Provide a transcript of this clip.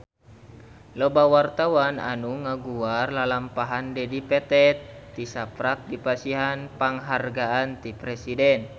Loba wartawan anu ngaguar lalampahan Dedi Petet tisaprak dipasihan panghargaan ti Presiden